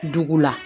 Dugu la